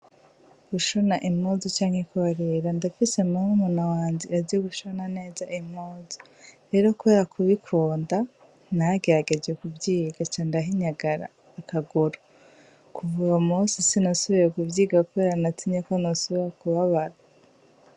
Gushona impuzu canke kubarira ndafise murumuna wanje azi gushona neza impuzu, rero kubera kubikunda naragerageje kuvyiga ca ndahinyagara akaguru kuva uwo musi sinasubiye kuvyiga kubera natinye yuko nosubira kubabara.